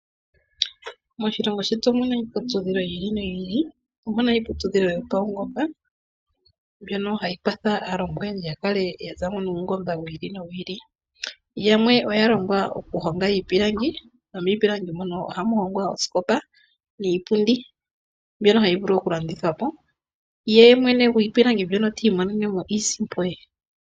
Moshilongo shetu omuna iiputudhilo yi ili noyi ili, omuna iiputudhilo yopaungomba mbyono hayi kwatha aalongwa oyendji ya kale ya za mo nuungomba wi ili nowi ili. Yamwe oya longwa okuhonga iipilangi, nomiipilangi mono ohamu hongwa oosikopa niipundi mbyono hayi vulu okulandithwa po, ye mwene gwiipilangi mbyono ti imonene mo iisimpo ye.